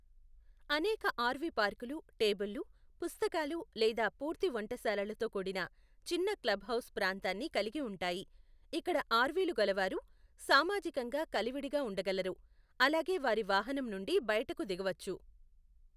అనేక ఆర్వీ పార్కులు టేబుళ్లు, పుస్తకాలు లేదా పూర్తి వంటశాలలతో కూడిన చిన్న క్లబ్ హౌస్ ప్రాంతాన్ని కలిగి ఉంటాయి, ఇక్కడ ఆర్వీలు గలవారు సామాజికంగా కలివిడిగా ఉండగలరు, అలాగే వారి వాహనం నుండి బయటకు దిగవచ్చు.